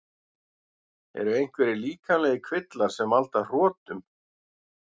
Eru einhverjir líkamlegir kvillar sem valda hrotum?